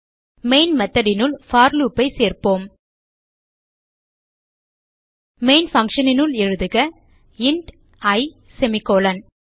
main method னுள் போர் loop ஐ சேர்ப்போம் மெயின் function னுள் எழுதுக இன்ட் இ செமிகோலன்